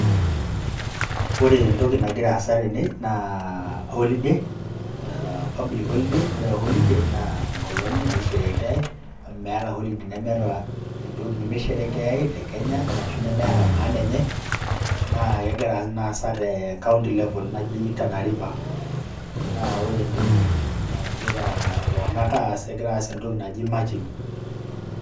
Ore entoki nagira aasa tene naa holiday a public holiday, ore holiday naa enkolong' naisherekeai meeta holiday nemeeta entoki nemisherekeai te kenya arashu nemeeta maana enye naa kegira naa aasa te County level naji Tana River naa ore entoki nagira iltung'anak aas egira aas entoki naji matching.